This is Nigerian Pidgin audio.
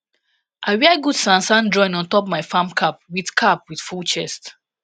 i wear gud sansan drawin ontop my farm cap wit cap wit full chest